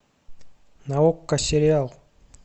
на окко сериал